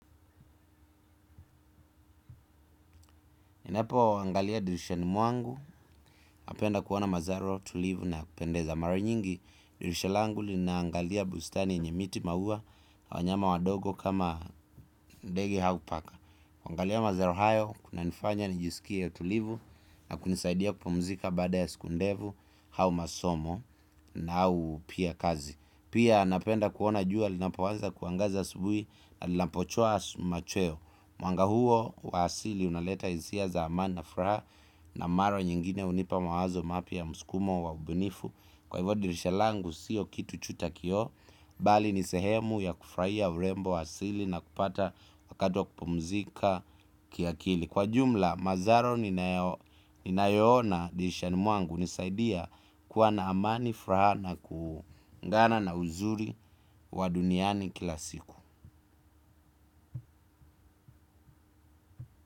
Niaapo angalia dirishani mwangu, napenda kuoana mazaro tulivu na ya kupendeza mara nyingi, dirisha langu linaangalia bustani yenye miti maua na wanyama wadogo kama ndege hau paka. Angalia mazaro hayo, kuna nifanya nijisikie tulivu na kunisaidia kupumzika baada ya siku ndefu hau masomo na au pia kazi. Pia napenda kuona jua linapo anza kuangaza asubui na lina pochua machweo mwanga huo wa asili unaleta hisia za amani na furaa na mara nyingine unipa mawazo mapya muskumo wa ubinifu kwa hivyo dirisha langu siyo kitu cha kioo bali nisehemu ya kufurahia urembo wa asili na kupata wakati wa kupumzika kiakili kwa jumla, mazaro ninayoona dirishani mwangu hunisaidia kuwa na amani furaha na kuungana na uzuri wa duniani kila siku.